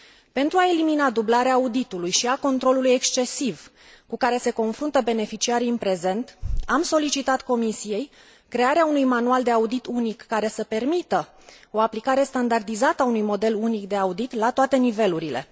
Pentru a elimina dublarea auditului și a controlului excesiv cu care se confruntă beneficiarii în prezent, am solicitat Comisiei crearea unui manual de audit unic, care să permită o aplicare standardizată a unui model unic de audit la toate nivelurile.